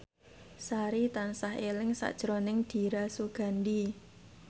Sari tansah eling sakjroning Dira Sugandi